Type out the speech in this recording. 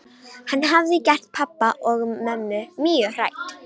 Hann hafði gert pabba og mömmu mjög hrædd.